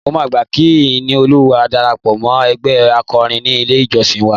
Mo máa gbà kí Ìníolúwa darapọ̀ mọ́ ẹgbẹ́ akọrin ní ilé-ìjọ́sìn wa